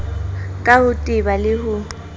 ka ho teba le ho